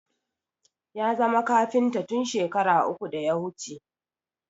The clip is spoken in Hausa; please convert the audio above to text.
Ya zama kafinta tun shekara uku da ya wuce